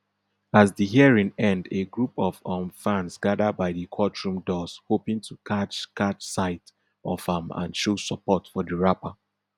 as di hearing end a group of um fans gada by di courtroom doors hoping to catch catch sight of am and show support for di rapper